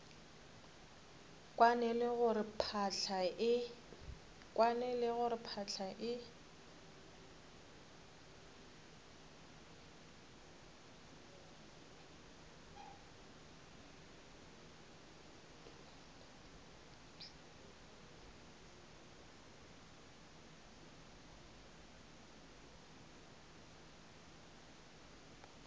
kwane le gore phahla e